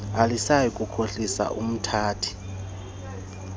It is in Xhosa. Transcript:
alisayi kukhohlisa umthathi